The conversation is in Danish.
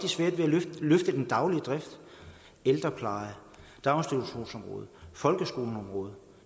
svært ved at løfte den daglige drift ældrepleje daginstitutionsområdet folkeskoleområdet